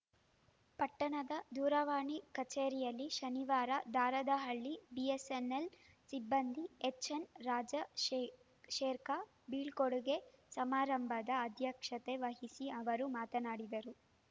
ಪಟ್ಟಣದ ದೂರವಾಣಿ ಕಚೇರಿಯಲ್ಲಿ ಶನಿವಾರ ದಾರದಹಳ್ಳಿ ಬಿಎಸ್‌ಎನ್‌ಎಲ್‌ ಸಿಬ್ಬಂದಿ ಎಚ್‌ಎನ್‌ ರಾಜ ಶೇ ಶೇರ್ಖಾ ಬೀಳ್ಕೊಡುಗೆ ಸಮಾರಂಭದ ಅಧ್ಯಕ್ಷತೆ ವಹಿಸಿ ಅವರು ಮಾತನಾಡಿದರು